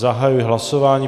Zahajuji hlasování.